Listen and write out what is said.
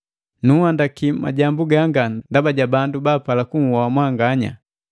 Nunhandaki majambu ganga ndaba ja bandu baapala kunhoa mwanganya.